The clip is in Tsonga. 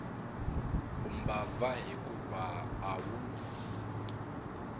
u mbabva hikuva a wu